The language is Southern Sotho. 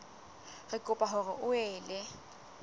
re kopa hore o ele